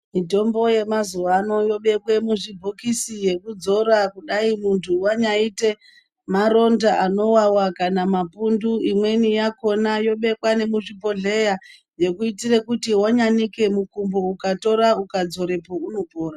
Mitombo yemazuwa ano inobekwe muzvibhokisi yekudzora kudai muntu wanyaite maronda anowawa kana mapundu imweni yakhona yobekwa nemuzvibhodhleya yekuitire kuti wanyanike mukumbo ukatora ukadzorepo unopora.